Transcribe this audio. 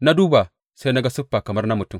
Na duba, sai na ga siffa kamar na mutum.